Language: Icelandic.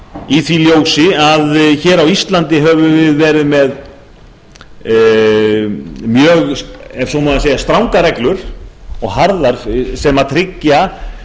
í því ljósi að hér á íslandi höfum við verið með mjög ef svo má segja strangar reglur og harðar sem tryggja